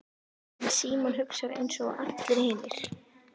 En Símon hugsar einsog allir hinir.